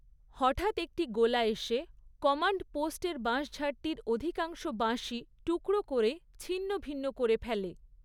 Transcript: হঠাৎ একটি গোলা এসে কমান্ডপোস্টের বাঁশঝাড়টির অধিকাংশ বাঁশই টুকরো করে ছিন্নভিন্ন করে ফেলে।